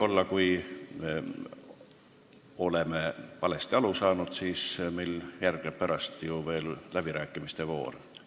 Aga kui me oleme millestki valesti aru saanud, siis pärast tuleb ju veel läbirääkimiste voor.